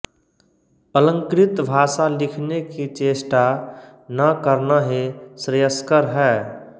अलंकृत भाषा लिखने की चेष्टा न करना ही श्रेयस्कर है